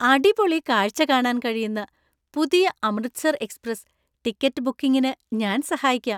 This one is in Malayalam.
അടിപൊളി കാഴ്ച കാണാൻ കഴിയുന്ന പുതിയ 'അമൃത്സര്‍ എക്സ്പ്രസ്' ടിക്കറ്റ് ബുക്കിംഗിന് ഞാൻ സഹായിക്കാം .